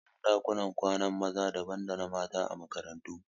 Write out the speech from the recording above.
Anayin ɗakunan kwanan maza daban da na mata a makarantu